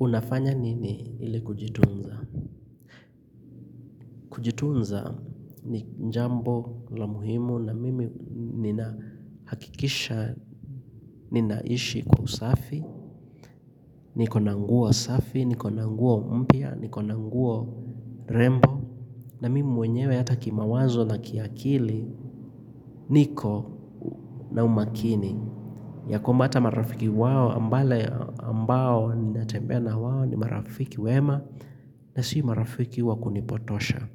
Unafanya nini ili kujitunza? Kujitunza ni jambo la muhimu na mimi nina hakikisha, ninaishi kwa usafi, niko na nguo safi, niko na nguo mpya, niko na nguo rembo. Na mimi mwenyewe hata kimawazo na kiakili, niko na umakini. Ya kwamba ata marafiki wao ambao natembea wao ni marafiki wema na si marafiki wa kunipotosha.